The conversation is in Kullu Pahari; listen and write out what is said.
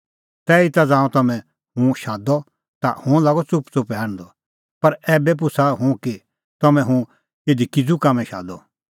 तैहीता ज़ांऊं तम्हैं हुंह शादअ ता हुंह लागअ च़ुपच़ुपै हांढदअ पर ऐबै पुछ़ा हुंह कि तम्हैं हुंह इधी किज़ू कामैं शादअ